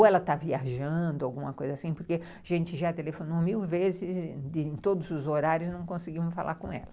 Ou ela está viajando, alguma coisa assim, porque a gente já telefonou mil vezes, em todos os horários, não conseguimos falar com ela.